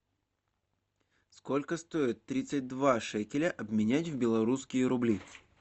сколько стоит тридцать два шекеля обменять в белорусские рубли